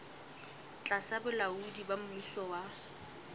tlasa bolaodi ba mmuso wa